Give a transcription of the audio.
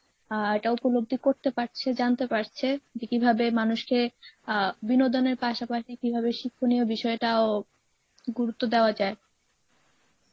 অ্যা এটা উপলব্ধি করতে পারছে জানতে পারছে যে কীভাবে মানুষকে আ বিনোদনের পাশাপাশি কীভাবে শিক্ষনীয় বিষয়টাও গুরুত্ব দেওয়া যায়